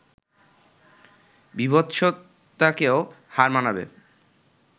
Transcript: বীভৎসতাকেও হার মানাবে